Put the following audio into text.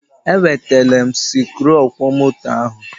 E wetele m sikruuọkwọmoto ahụ.